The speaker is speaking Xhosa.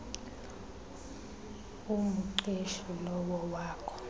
umqeshi lowo wakho